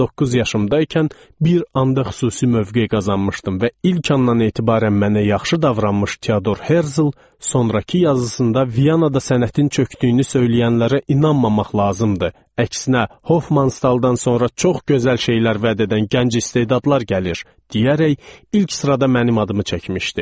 19 yaşımdaykən bir anda xüsusi mövqe qazanmışdım və ilk andan etibarən mənə yaxşı davranmış Teodor Herzel sonrakı yazısında Viyanada sənətin çökdüyünü söyləyənlərə inanmamaq lazımdır, əksinə Hofman Staldan sonra çox gözəl şeylər vəd edən gənc istedadlar gəlir, deyərək ilk sırada mənim adımı çəkmişdi.